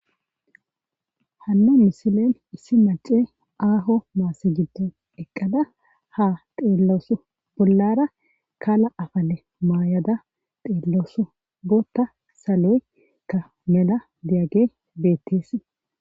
Hanna misilen issi mace aaho maasse giddon eqqada ha xeellaosu bollara kala afale maayada xeellaosu bootta saloykka mela diyage beetteesi.